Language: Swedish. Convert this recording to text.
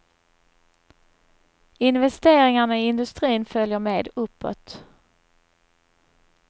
Investeringarna i industrin följer med uppåt.